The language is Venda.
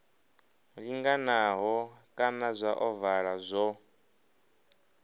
linganaho kana zwa ovala zwo